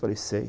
Falei, sei.